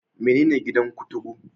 Menene gidan kuturu?